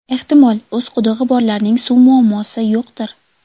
Ehtimol, o‘z qudug‘i borlarning suv muammosi yo‘qdir.